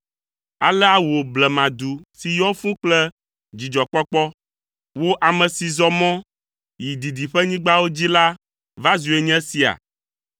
Alea wò blemadu si yɔ fũu kple dzidzɔkpɔkpɔ, wo ame si zɔ mɔ yi didiƒenyigbawo dzi la va zue nye esia?